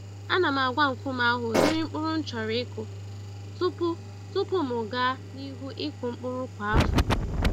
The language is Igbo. Ana m agwa nkume ahụ ụdịrị mkpụrụ m chọrọ ịkụ tupu tupu m gaa n'ihu ịkụ mkpụrụ kwa afọ